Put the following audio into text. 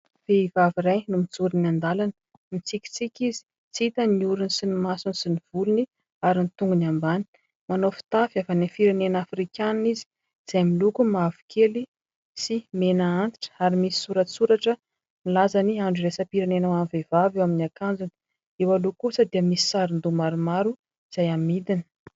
Vehivavy iray no mijoro eny an-dalana, mitsikitsika izy tsy hita ny orony sy ny masony sy ny volony ary ny tongony ambany, manao fitafy avy any firenena afrikanina izy izay miloko mavokely sy mena antitra ary misy soratsoratra milaza ny andro iraisam-pirenena ho an'ny vehivavy eo amin'ny akanjony, eo aloha kosa dia misy sarin-doha maromaro izay amidiny.